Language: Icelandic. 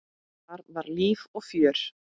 Þar var líf og fjör.